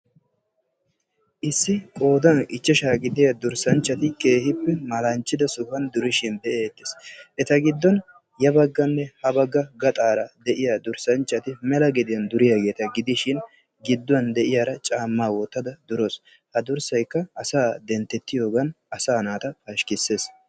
issi qoodan ichchashaa gidiya durssanchchati keehippe malanchchida sohuwan durishin be'eettes. eta giddon ya baggaaranne ha baggaara de'iya durssanchchati mela gediyan duriyaageeta gidishin gidduwan de'iyara caammaa wottada durawusu. ha durssayikka asaa denttettiyoogan asaa naata pashkkissees.